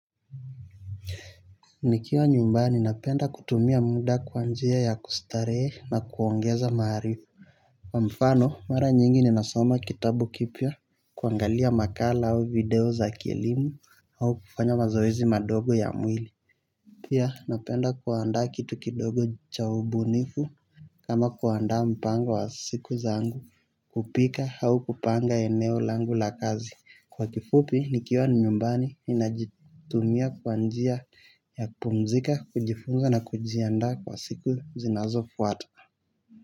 Nikiwa nyumbani napenda kutumia muda kwa njia ya kustarehe na kuongeza maarifu. Kwa mfano mara nyingi ninasoma kitabu kipya kuangalia makala au video za kielimu au kufanya mazeizi madogo ya mwili. Pia napenda kuanda kitu kidogo cha ubunifu kama kuaanda mpango wa siku zangu kupika au kupanga eneo langu la kazi. Kwa kifupi, nikiwa nyumbani inajitumia kwa njia ya kupumzika, kujifunga na kujianda kwa siku zinazofwata.